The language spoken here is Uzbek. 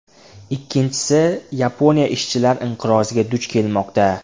Ikkinchisi, Yaponiya ishchilar inqiroziga duch kelmoqda.